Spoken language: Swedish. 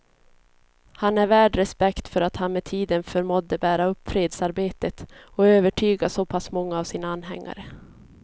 Han är värd respekt för att han med tiden förmådde bära upp fredsarbetet och övertyga så pass många av sina anhängare.